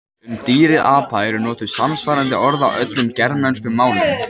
Um dýrið apa eru notuð samsvarandi orð á öllum germönskum málum.